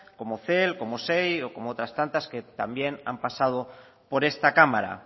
como cel como sei o como otras tantas que también han pasado por esta cámara